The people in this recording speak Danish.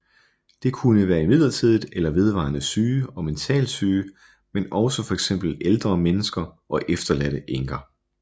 Det kunne være midlertidigt eller vedvarende syge og mentalt syge men også fx ældre mennesker og efterladte enker